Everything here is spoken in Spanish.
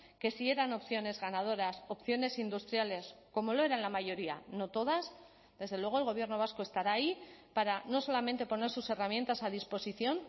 que sí eran opciones ganadoras opciones industriales como lo eran la mayoría no todas desde luego el gobierno vasco estará ahí para no solamente poner sus herramientas a disposición